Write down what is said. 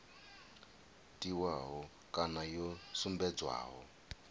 tiwaho kana yo sumbedzwaho ya